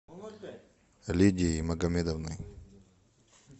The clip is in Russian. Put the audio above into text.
лидией магомедовной